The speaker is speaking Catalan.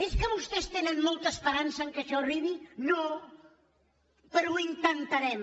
és que vostès tenen molta esperança que això arribi no pe·rò ho intentarem